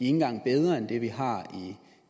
engang er bedre end det vi har i